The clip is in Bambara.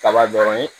Kaba dɔrɔn ye